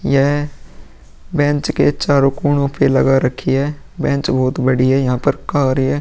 यह बेंच के चारों कोणों पे लगा रखी है बेंच बहुत बढ़िया यहाँ पर कारें हैं।